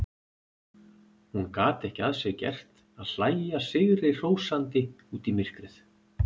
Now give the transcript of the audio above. Hún gat ekki að sér gert að hlæja sigrihrósandi út í myrkrið.